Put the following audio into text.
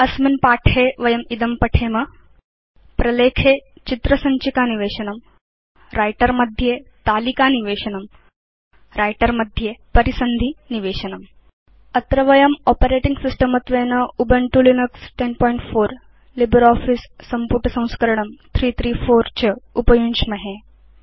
अस्मिन् पाठे वयम् इदं पठेम प्रलेखे चित्र सञ्चिका निवेशनम् व्रिटर मध्ये तालिकानिवेशनम् व्रिटर मध्ये परिसन्धि निवेशनम् अत्र वयम् आपरेटिंग सिस्टम् त्वेन उबुन्तु लिनक्स 1004 इति लिब्रियोफिस संपुटसंस्करणं 334 च उपयुञ्ज्महे